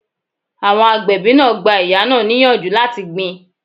Àwọn agbẹ̀bí náà gba ìyá náà ni ìyànjú láti gbin